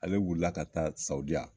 Ale wulila ka taa sawudiya